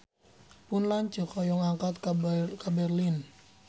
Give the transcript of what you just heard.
Pun lanceuk hoyong angkat ka Berlin